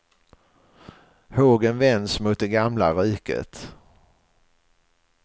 Hågen vänds mot det gamla riket.